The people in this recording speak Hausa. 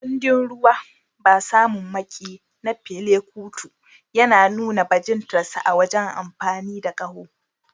Kundin "Ruwa Ba Samun Maƙiyi" na Fela Kuti ya nuna bajintar sa wajen amfani da ƙaho.